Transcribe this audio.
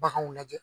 Baganw lajɛ